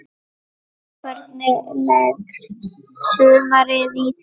Hvernig leggst sumarið í þig?